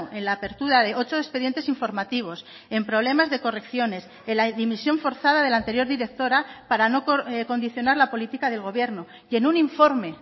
en la apertura de ocho expedientes informativos en problemas de correcciones en la dimisión forzada de la anterior directora para no condicionar la política del gobierno y en un informe